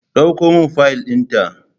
Ɗauko min fiyal din ta